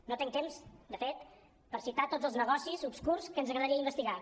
no tenc temps de fet per citar tots els negocis obscurs que ens agradaria investigar